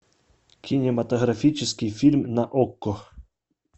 кинематографический фильм на окко